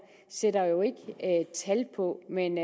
sætter jo ikke tal på men